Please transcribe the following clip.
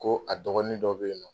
Koo a dɔgɔnin dɔ be yen nɔ